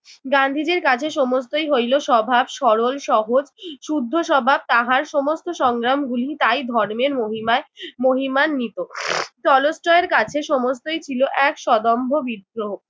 গান্ধীজির কাছে সমস্তই হইল স্বভাব সরল সহজ শুদ্ধ স্বভাব তাহার সমস্ত সংগ্রামগুলি তাই ধর্মের মহিমায় মহিমান্বিত। টলস্টয়ের কাছে সমস্তই ছিল এক সদম্ভ বিদ্রোহ।